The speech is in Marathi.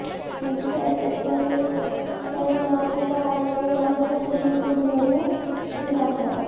मंत्रीसाहेब शेतकरी कर्जमाफीचा ऑनलाईन अर्ज तुम्ही भरून दाखवा